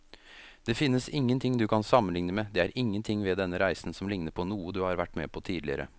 Det finnes ingenting du kan sammenligne med, det er ingenting ved denne reisen som ligner på noe du har vært med på tidligere.